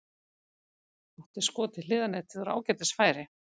Átti skot í hliðarnetið úr ágætis færi.